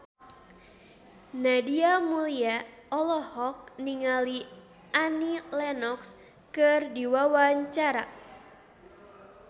Nadia Mulya olohok ningali Annie Lenox keur diwawancara